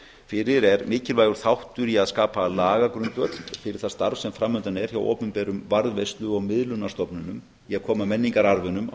fyrir er mikilvægur þáttur í að skapa lagagrundvöll fyrir það starf sem framundan er hjá opinberum varðveislu og miðlunarstofnunum í að koma menningararfinum á